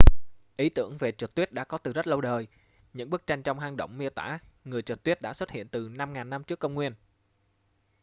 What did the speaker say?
ý tưởng về trượt tuyết đã có từ rất lâu đời những bức tranh trong hang động miêu tả người trượt tuyết đã xuất hiện từ 5000 năm trước công nguyên